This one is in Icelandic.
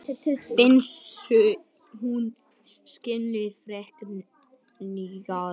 Finnst hún skilningslaus frekja.